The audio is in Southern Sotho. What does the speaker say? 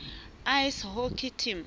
ice hockey team